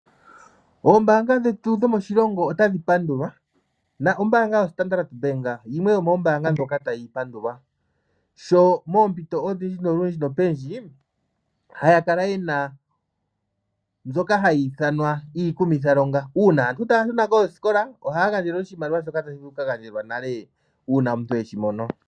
Oombanga dhetu dhomoshilongo otadhi pandulwa. ombaanga yo Standard yimwe yomoombanga ndjoka tayi pandulwa sho moompito odhindji olundji nopendji haya kala yena mbyoka hayi ithanwa iikumithalonga . Uuma aantu taya shuna koosikola ohaya gandja oshimaliwa shoka tashi vulu oku ka gandjwa nale uuna omuntu eshimono .